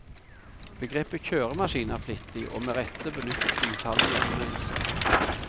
Begrepet kjøremaskin er flittig, og med rette, benyttet i utallige anmeldelser.